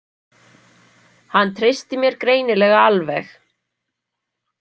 Hann treysti mér greinilega alveg.